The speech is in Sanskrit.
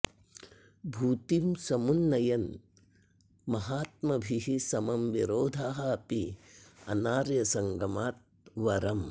भूतिं समुन्नयन् महात्मभिः समं विरोधः अपि अनार्यसंगमात् वरम्